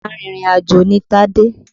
Arìnrìn àjò ni Tádé.